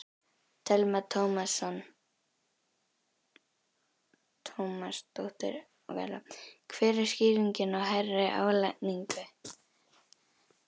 Telma Tómasson: Hver er skýringin á hærri álagningu?